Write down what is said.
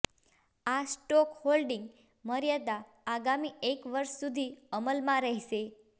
આ stock holding મર્યાદા આગામી એક વર્ષ સુધી અમલમાં રહેશે